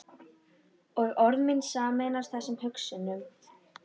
Og orð mín sameinast þessum hugsunum.